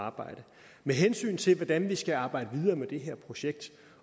arbejde med hensyn til hvordan vi skal arbejde videre med det her projekt